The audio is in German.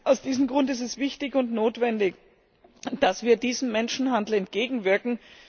Aus diesem Grund ist es wichtig und notwendig, dass wir diesem Menschenhandel entgegenwirken.